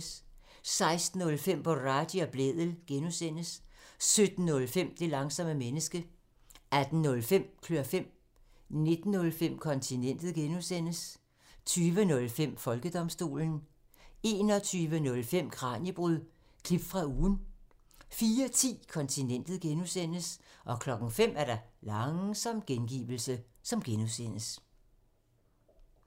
16:05: Boraghi og Blædel (G) 17:05: Det langsomme menneske 18:05: Klør fem 19:05: Kontinentet (G) 20:05: Folkedomstolen 21:05: Kraniebrud – klip fra ugen 04:10: Kontinentet (G) 05:00: Langsom gengivelse (G)